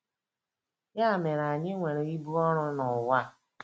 Ya mere, anyị nwere ibu ọrụ n'ụwa.